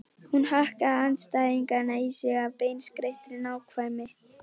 Hún hakkaði andstæðingana í sig af beinskeyttri nákvæmni.